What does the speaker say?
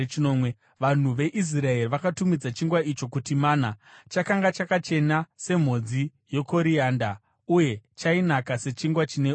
Vanhu veIsraeri vakatumidza chingwa icho kuti mana. Chakanga chakachena semhodzi yekorianda uye chainaka sechingwa chine uchi.